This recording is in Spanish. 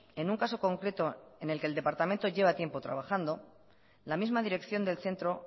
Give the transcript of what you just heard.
en un caso concreto en el que el departamento lleva tiempo trabajando la misma dirección del centro